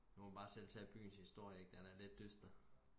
nu kan man selv bare tage byens historie ikke den er lidt dyster